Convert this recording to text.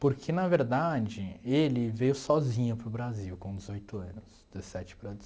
Porque, na verdade, ele veio sozinho para o Brasil com dezoito anos, dezessete para